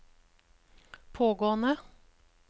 pågående